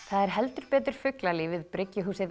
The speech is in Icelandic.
það er heldur betur fuglalíf við